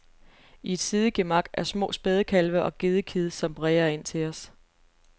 I et sidegemak er små spædekalve og gedekid, som bræger ind til os.